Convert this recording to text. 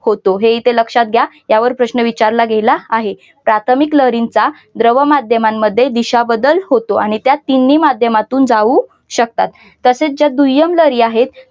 होतो हे ते लक्षात घ्या. यावर प्रश्न विचारला गेला आहे. प्राथमिक लहरींचा जवळ माध्यमांमध्ये दिशा बदल होतो आणि त्या तीनही माध्यमातून जाऊ शकतात चा दुय्यम लहरी आहेत.